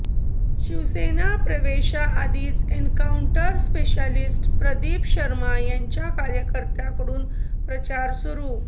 शिवसेना प्रवेशा आधीच encounter specialist Pradeep Sharma यांच्या कार्यकर्त्यांकडून प्रचार सुरु